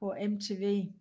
på MTV